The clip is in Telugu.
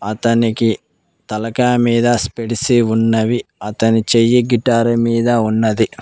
అతనికి తలకాయ మీద స్పెడిసి ఉన్నవి అతని చెయ్యి గిటార్ మీద ఉన్నది.